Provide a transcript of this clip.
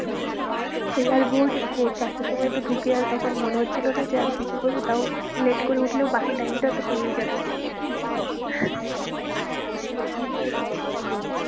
সেই আর ভোর ভোর চারটের সময় তো ঢুকে আর তখন মনে হচ্ছিলো না যে আর কিছু করবো। তাও late করে উঠলেও বাকি time টা তো পেয়েই যাচ্ছে। সেটাই